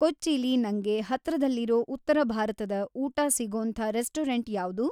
ಕೊಚ್ಚೀಲಿ ನಂಗೆ ಹತ್ರದಲ್ಲಿರೋ ಉತ್ತರಭಾರತದ ಊಟ ಸಿಗೋಂತ ರೆಸ್ಟೋರೆಂಟ್‌ ಯಾವ್ದು